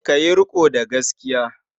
Ka yi riƙo da gaskiya.